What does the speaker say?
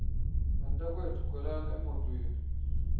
bantakwethu khwelani emotweni